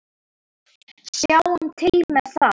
Sjáum til með það.